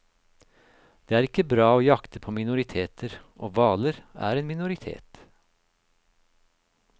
Det er ikke bra å jakte på minoriteter, og hvaler er en minoritet.